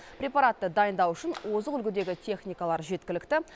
препаратты дайындау үшін озық үлгідегі техникалар жеткілікті